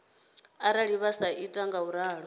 arali vha sa ita ngauralo